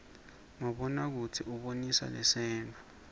mabona kudze ubonisa lasenttfo